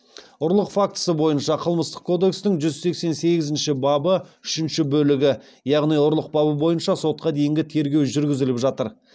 ұрлық фактісі бойынша қылмыстық кодекстің жүз сексен сегізінші бабы үшінші бөлігі яғни ұрлық бабы бойынша сотқа дейінгі тергеу жүргізіліп жатыр